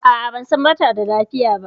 A a ban san ba ta da lafiya ba.